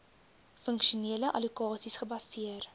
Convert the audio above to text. funksionele allokasies gebaseer